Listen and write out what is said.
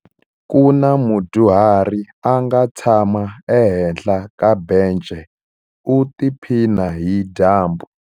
Ku na mudyuhari a nga tshama ehenhla ka bence u tiphina hi dyambu.